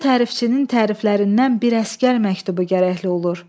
Neçə tərifçinin təriflərindən bir əsgər məktubu gərəkli olur.